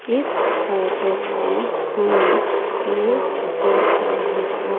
इस फोटो को हम ये देख रहे है।